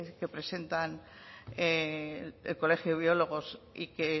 que presentan el colegio de biólogos y que